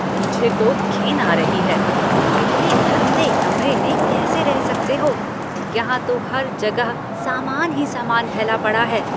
मुझे तो घिन आ रही है, तुम इतने गंदे कमरे में कैसे रह सकते हो, यहाँ तो हर जगह सामान ही सामान फैला पड़ा है?